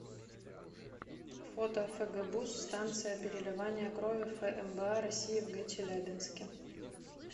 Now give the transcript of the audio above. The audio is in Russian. фото фгбуз станция переливания крови фмба россии в г челябинске